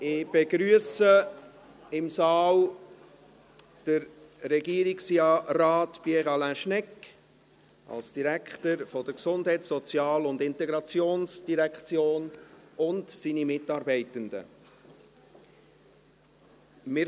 Ich begrüsse Regierungsrat Pierre Alain Schnegg, den Direktor der GSI, sowie seine Mitarbeitenden im Saal.